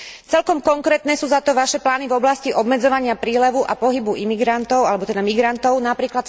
Celkom konkrétne sú za to vaše plány v oblasti obmedzovania prílevu a pohybu imigrantov alebo teda migrantov, napr.